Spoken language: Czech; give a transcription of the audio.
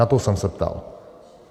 Na to jsem se ptal.